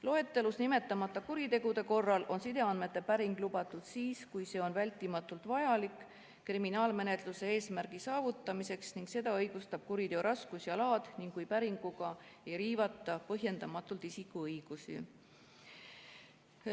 Loetelus nimetamata kuritegude korral on sideandmete päring lubatud siis, kui see on vältimatult vajalik kriminaalmenetluse eesmärgi saavutamiseks ning seda õigustab kuriteo raskus ja laad ning kui päringuga ei riivata põhjendamatult isikuõigusi.